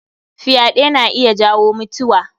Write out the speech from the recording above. Fyaɗe na iya jawo mutiwa.